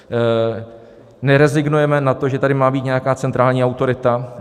Nerezignujeme na to, že tady má být nějaká centrální autorita.